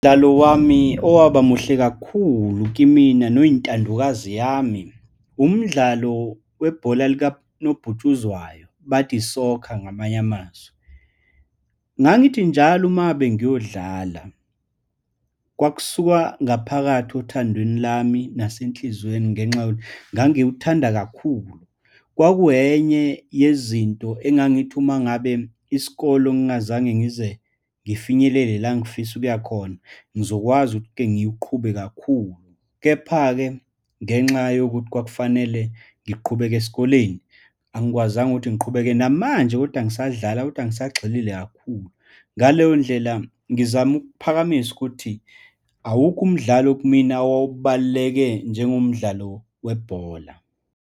Umdlalo wami owaba muhle kakhulu kimina noyintandokazi yami. Umdlalo webhola likanobhutshuzwayo, bathi i-soccer ngamanye amazwi. Ngangithi njalo uma ngabe ngiyodlala, kwakusuka ngaphakathi othandweni lami nase nhliziyweni ngenxa yokuthi ngangiwuthanda kakhulu. Kwakuyenye yezinto engangithi uma ngabe isikole ngingazange ngize ngifinyelele la ngifisa ukuya khona, ngizokwazi kengiwuqhube kakhulu. Kepha-ke ngenxa yokuthi kwakufanele ngiqhubeke esikoleni, angikwazanga ukuthi ngiqhubeke, namanje kodwa ngisadlala kodwa angisagxilile kakhulu. Ngaleyo ndlela ngizama ukuphakamisa ukuthi awukho umdlalo kimina owawubaluleke njengomdlalo webhola.